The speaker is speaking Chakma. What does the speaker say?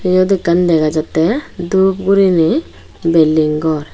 yot ekkan dega jatte dup gurine building gor.